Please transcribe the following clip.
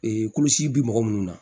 kulusi bi mɔgɔ minnu na